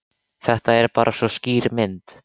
Þetta er bara svo skýr mynd.